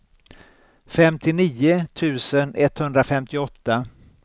femtionio tusen etthundrafemtioåtta